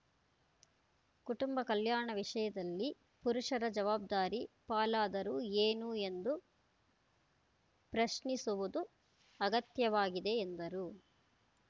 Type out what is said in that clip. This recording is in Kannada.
ಕುಟುಂಬ ಕಲ್ಯಾಣ ವಿಷಯದಲ್ಲಿ ಪುರುಷರ ಜವಾಬ್ದಾರಿ ಪಾಲಾದರೂ ಏನು ಎಂದು ಪ್ರಶ್ನಿಸುವುದು ಅಗತ್ಯವಾಗಿದೆ ಎಂದರು